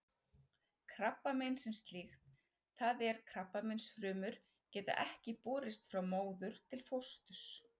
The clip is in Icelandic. Krabbamein sem slíkt, það er krabbameinsfrumur, geta ekki borist frá móður til fósturs.